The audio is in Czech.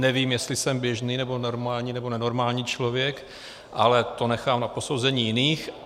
Nevím, jestli jsem běžný nebo normální nebo nenormální člověk, ale to nechám na posouzení jiných.